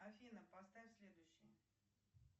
афина поставь следующее